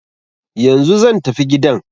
Yanzu zan tafi gidan.